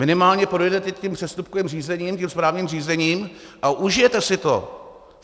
Minimálně projdete tím přestupkovým řízením, tím správním řízením, a užijete si to.